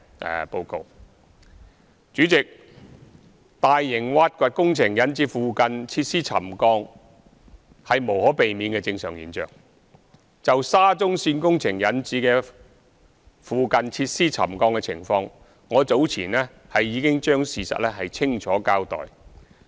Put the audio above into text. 代理主席，大型挖掘工程引致附近設施沉降是無可避免的正常現象，就沙中線工程引致附近設施沉降的情況，我早前已將事實清楚交代。